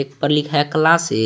ऊपर लिखा है क्लासिक ।